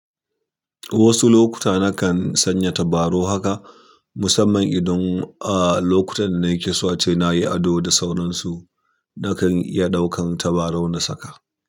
Wasu lokuta na kan sanya tabarau haka, musamman idan a lokutan da na keso ce na yi ado da sauransu, na kan iya ɗaukan tabarau na saka.